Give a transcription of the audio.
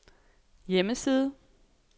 hjemmeside